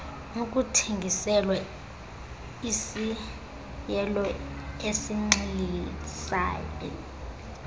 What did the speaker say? nokuthengiselwa isiaelo esinxilisayo